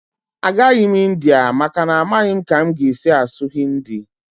Agaghị m India maka na amaghị m ka m ga-esi asụ Hindi